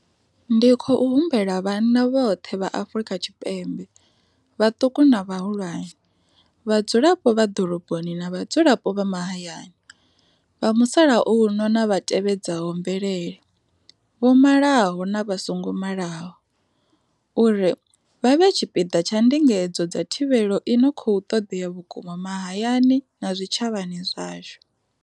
Ndi khou humbela vhanna vhoṱhe vha Afrika Tshipembe, vhaṱuku na vhahulwane, vhadzulapo vha ḓoroboni na vhadzulapo vha mahayani, vha musalauno na vha tevhedzaho mvelele, vho malaho na vha songo malaho, uri vha vhe tshipiḓa tsha ndingedzo dza thivhelo i no khou ṱoḓea vhukuma mahayani na zwitshavhani zwashu.